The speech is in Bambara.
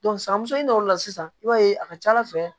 san muso in l'o la sisan i b'a ye a ka ca ala fɛ